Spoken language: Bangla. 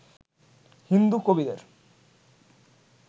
হিন্দু কবিদের